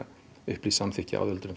upplýst samþykki áður en